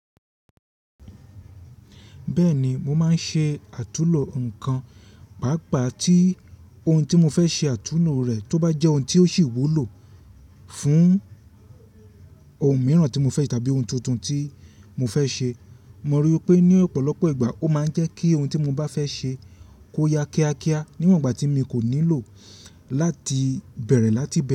Bẹ́ẹ̀ni, mo máa ń ṣe àtúnlo nǹkan, pàápàá tí ohun tí mo fẹ́ ṣe àtúnlo rẹ̀ tó bá jẹ́ ohun tí ó sì wúlò fún ohun mìíràn tí mo fẹ́ tàbí ohun tuntun tí mo fẹ́ ṣe. Mo rí i pé ní ọ̀pọ̀lọpọ̀ ìgbà ó máa ń jẹ́ kí ohun tí mo bá fẹ́ ṣe kó ya kíákíá níwòn ìgbà tí mi kò nílò láti bẹ̀rẹ̀ láti.